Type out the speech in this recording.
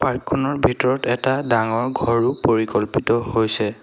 Park খনৰ ভিতৰত এটা ডাঙৰ ঘৰো পৰিকল্পিত হৈছে।